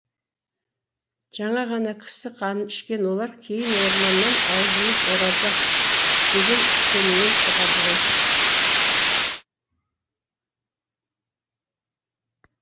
жаңа ғана кісі қанын ішкен олар кейін орманнан аузымыз ораза деген сеніммен шығады ғой